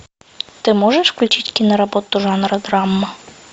ты можешь включить киноработу жанра драма